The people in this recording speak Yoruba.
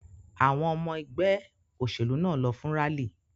Àwọn ọmọ ẹgbẹ́ òṣèlú náà lọ fún rálì.